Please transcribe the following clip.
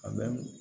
A bɛ